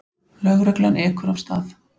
Lögreglan ekur af stað.